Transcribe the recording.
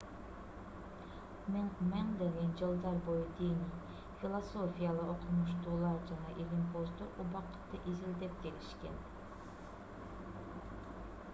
миңдеген жылдар бою диний философиялык окумуштуулар жана илимпоздор убакытты изилдеп келишкен